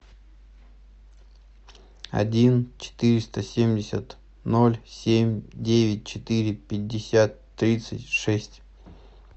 один четыреста семьдесят ноль семь девять четыре пятьдесят тридцать шесть